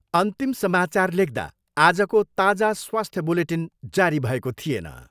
अन्तिम समाचार लेख्दा आजको ताजा स्वास्थ्य बुलेटिन जारी भएको थिएन।